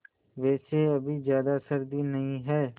वैसे अभी ज़्यादा सर्दी नहीं है